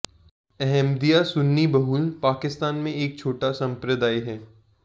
अहमदिया सुन्नी बहुल पाकिस्तान में एक छोटा संप्रदाय है